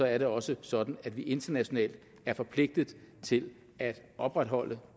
er det også sådan at vi internationalt er forpligtet til at opretholde